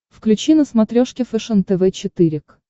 включи на смотрешке фэшен тв четыре к